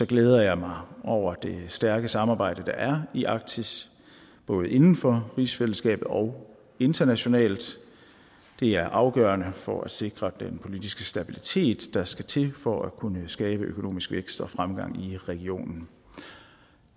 glæder jeg mig over det stærke samarbejde der er i arktis både inden for rigsfællesskabet og internationalt det er afgørende for at sikre den politiske stabilitet der skal til for at kunne skabe økonomisk vækst og fremgang i regionen